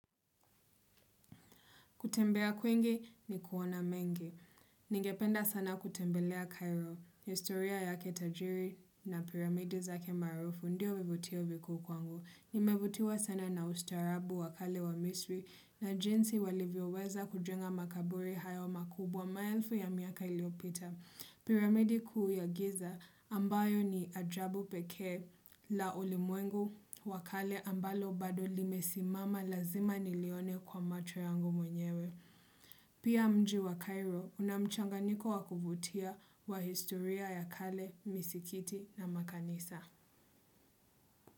Kutembea kwingi ni kuona mengi Ningependa sana kutembelea Cairo. Historia ya kitajiri na piramidi za kimaarufu ndio vivutio vikuu kwangu. Nimevutiwa sana na ustarabu wakale wa misri na jinsi walivyoweza kujenga makaburi hayo makubwa maelfu ya miaka iliyopita. Piramidi kuu ya giza ambayo ni ajabu pekee la ulimwengu wakale ambalo bado limesimama lazima nilione kwa macho yangu mwenyewe. Pia mji wa Cairo unamchanganyiko wakuvutia wa historia ya kale, misikiti na makanisa.